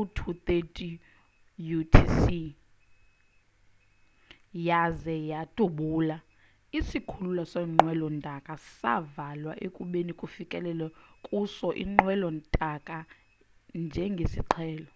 0230utc yaze yadubula isikhululo seenqwelo ntaka savalwa ekubeni kufikele kuso iinqwelo ntaka njengesiqhelo